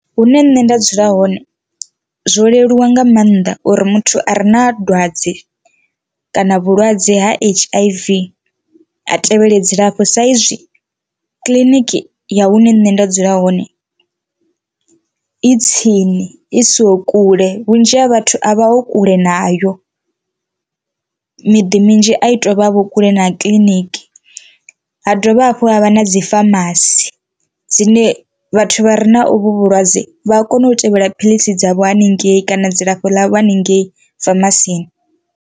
Hune nṋe nda dzula hone zwo leluwa nga maanḓa uri muthu a re na dwadze kana vhulwadze ha H_I_V a tevhele dzilafho, sa izwi kiḽiniki ya hune nṋe nda dzula hone i tsini i siho kule vhunzhi ha vhathu a vha ho kule nayo miḓi minzhi a i tovha vho kule na kiḽiniki. Ha ha dovha hafhu ha vha na dzi famasi dzine vhathu vha re na ovhu vhulwadze vha a kona u tevhela philisi dzavho haningei kana dzilafho ḽa vho haningei famasiani.